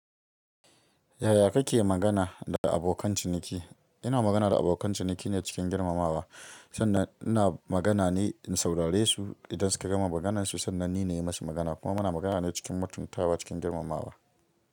Yaya kake magana, da abokan ciniki? Ina magana da abokan ciniki ne cikin girmamawa, sanda ina magana ne in saurare su, idan suka gama maganarsu sannan ni na yi musu magana. Kuma muna magana ne cikin matun tawa cikin girmamawa.